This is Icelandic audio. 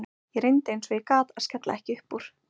Ég reyndi eins og ég gat að skella ekki upp úr.